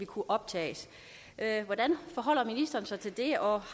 kunne optages hvordan forholder ministeren sig til det og